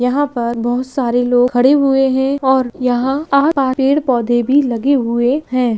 यहाँ पर बहुत सारे लोग खड़े हुए हैं और यहाँ आस-पास पेड़-पौधे भी लगे हुए हैं।